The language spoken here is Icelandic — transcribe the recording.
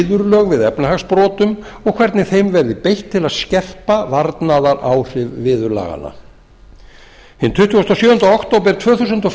viðurlög við efnahagsbrotum og hvernig þeim verði beitt til að skerpa varnaðaráhrif viðurlaganna hinn tuttugasta og sjöunda október tvö þúsund og